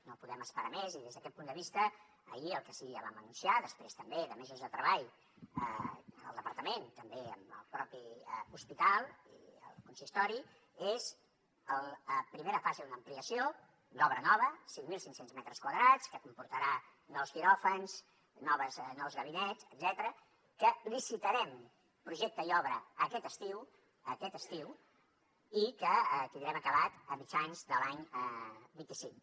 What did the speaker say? no podem esperar més i des d’aquest punt de vista ahir el que sí que ja vam anunciar després també de mesos de treball en el departament també amb el mateix hospital i el consistori és la primera fase d’una ampliació d’obra nova cinc mil cinc cents metres quadrats que comportarà nous quiròfans nous gabinets etcètera que en licitarem projecte i obra aquest estiu aquest estiu i que tindrem acabat a mitjans de l’any vint cinc